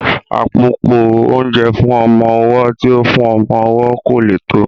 Àpòpọ́ oúnjẹ fún ọmọ ọwọ́ tí ó fún ọmọ owó kò lè tó